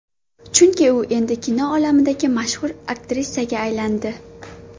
Chunki u endi kino olamidagi mashhur aktrisaga aylangandi.